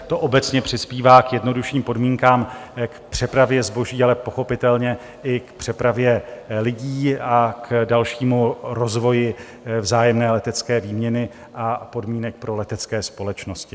To obecně přispívá k jednodušším podmínkám k přepravě zboží, ale pochopitelně i k přepravě lidí a k dalšímu rozvoji vzájemné letecké výměny a podmínek pro letecké společnosti.